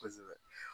Kosɛbɛ